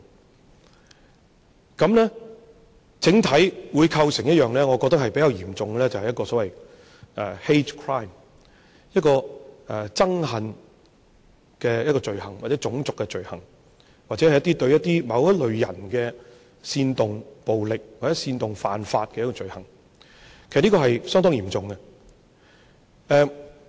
這樣子，我覺得整體會構成一個比較嚴重的 hate crime， 一個憎恨罪行、種族罪行，或者對某一類人煽動暴力，或者煽動犯法的一個罪行，這是相當嚴重。